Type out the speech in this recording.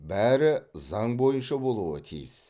бәрі заң бойынша болуы тиіс